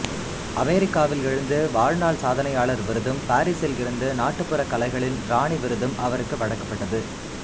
அமெரிக்காவிலிருந்து வாழ்நாள் சாதனையாளர் விருதும் பாரிஸிலிருந்து நாட்டுபுறக் கலகளின் ராணி விருதும் அவருக்கு வழங்கப்பட்டது